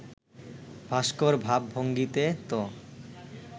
ভাস্কর ভাব-ভঙ্গীতে ত